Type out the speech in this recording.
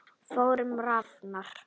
Þórunn Rafnar.